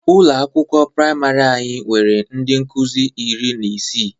Ụlọ akwụkwọ prịmarị anya nwere ndị nkụzị iri na isii.